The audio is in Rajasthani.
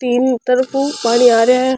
तीन तरफ उ पानी आ रियो है।